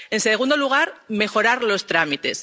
En segundo lugar, mejorar los